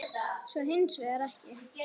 Svo er hins vegar ekki.